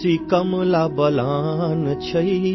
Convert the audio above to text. कोशी कमला बलान है